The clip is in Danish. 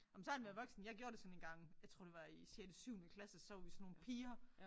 Ej men så har han været voksen jeg gjorde det sådan engang jeg tror det var i sjette syvende klasse så var vi sådan nogle piger